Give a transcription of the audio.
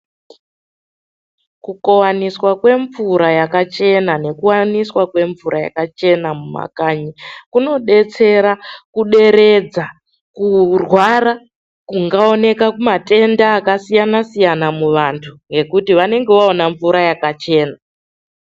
Kukovaniswa kwemvura yakachena nekuvaniswa kwemvura yakachena mumakanyi. Kunobetsera kuderedza kurwara kungaoneka kumatenda akasiyana-siyana muvantu ngekuti vanenge vaona mvura yakachena.